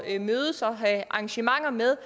at mødes og have arrangementer med